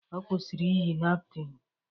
Ọ kwụsịrị iyi napkịn.